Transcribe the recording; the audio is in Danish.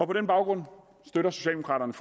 på den baggrund støtter socialdemokraterne